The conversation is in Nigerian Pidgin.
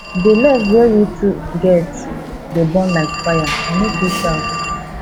di love wey we two get dey burn like fire i no fit shout